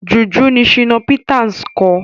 Jùjú ni Shina Peters ń kọ.